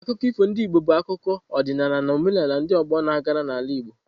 Akụkọ ifo ndị Igbo bụ akụkọ, ọdịnala na omenala ndị ọgbọ na-agara n’ala Igbo.